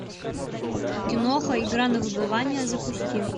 киноха игра на выбывание запусти